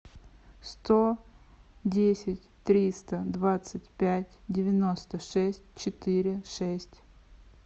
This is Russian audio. сто десять триста двадцать пять девяносто шесть четыре шесть